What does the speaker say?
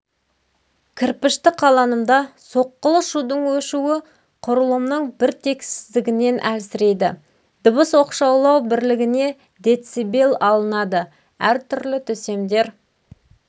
кірпішті қаланымда соққылы шудың өшуі құрылымның бір тексіздігінен әлсірейді дыбыс оқшаулау бірлігіне децибелл алынады әртүрлі төсемдер